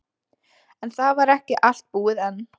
En það var ekki allt búið enn.